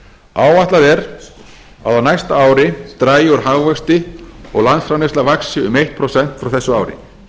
áætlað er að á næsta ári dragi úr hagvexti og landsframleiðsla vaxi um eitt prósent frá þessu ári